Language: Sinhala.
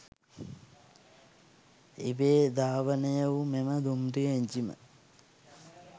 ඉබේ ධාවනයවූ මෙම දුම්රිය එංජිම